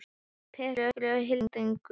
Per, hringdu í Hildigunni.